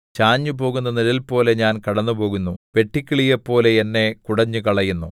ചാഞ്ഞുപോകുന്ന നിഴൽപോലെ ഞാൻ കടന്നുപോകുന്നു വെട്ടുക്കിളിയെപ്പോലെ എന്നെ കുടഞ്ഞുകളയുന്നു